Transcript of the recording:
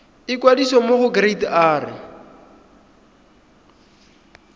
ikwadisa mo go kereite r